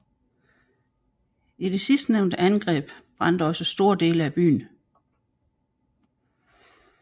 I det sidstnævnte angreb brændte også store dele af byen